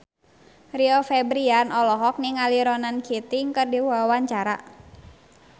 Rio Febrian olohok ningali Ronan Keating keur diwawancara